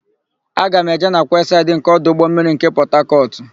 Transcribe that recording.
Aga m eje na kwesaịdị nke ọdụ ụgbọmmiri nke Pọtakọtụ.